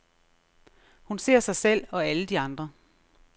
Hun ser sig selv og alle de andre.